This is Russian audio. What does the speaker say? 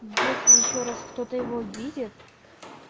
если ещё раз кто-то его видит